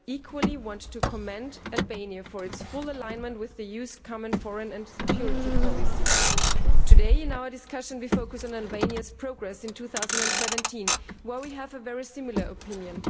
I equally want to commend Albania for its full alignment with the EU's common foreign and security policy. Today in our discussion we are focusing on Albaniaʼs progress in 2017, on which we have a very similar opinion.